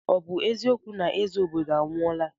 Ọ bụ eziokwu na eze obodo anwụọla?